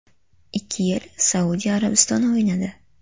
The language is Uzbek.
Ikki yil Saudiya Arabistonida o‘ynadi.